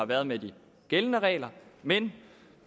været med de gældende regler men